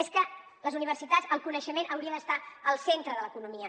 és que les universitats el coneixement hauria d’estar al centre de l’economia